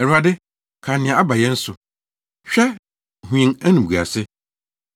Awurade, kae nea aba yɛn so; hwɛ, na hu yɛn animguase.